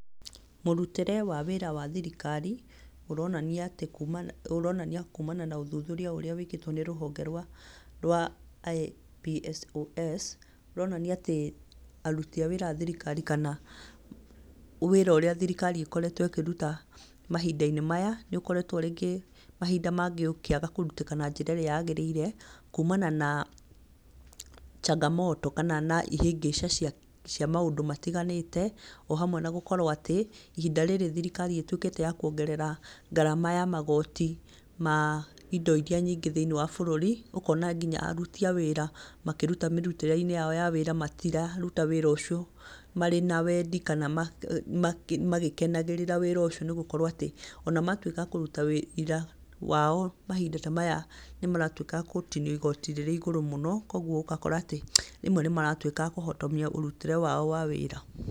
Mũrutĩre wa wĩra wa thirikari, ũronania atĩ kuuma ũronania kuumana na ũthuthuria ũrĩa wĩkĩtwo nĩ rũhonge rwa IPSOS, rũronania atĩ aruti awĩra a thirikari, kana wĩra ũrĩa thirikari ĩkoretwo ĩkĩruta mahinda-inĩ maya, nĩ ũkoretwo rĩngĩ mahinda mangĩ ũkĩaga kũrutĩka na njĩra ĩrĩa yagĩrĩire, kuumana na changamoto kana na ihĩngĩca cia cia maũndũ matiganĩte, ohamwe na gũkorwo atĩ, ihinda rĩrĩ thirikari ĩtuĩkĩte ya kuongerera ngarama ya magoti, ma indo iria nyingĩ thĩinĩ wa bũrũri, ũkona nginya aruti a wĩra, makĩruta mĩrutĩre-inĩ yao ya wĩra, matiraruta wĩra ũcio marĩ na wendi kana makĩ makĩ magĩkenagĩrĩra wĩra ũcio nĩ gũkorwo atĩ, ona matuĩka a kũruta wĩra wao, mahinda tamaya nĩ maratuĩka agũtinio igoti rĩrĩ igũrũ mũno, kogwo ũgakora atĩ, rĩmwe nĩ maratuĩka a kũhotomia mũrutĩre wao wa wĩra.